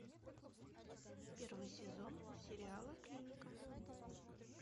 первый сезон сериала клиника